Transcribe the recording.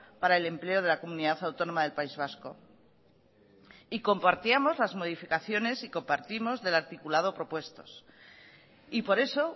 para el empleo de la comunidad autónoma del país vasco y compartíamos las modificaciones y compartimos el articulado propuestos y por eso